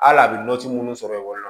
Hali a bɛ minnu sɔrɔ ekɔli la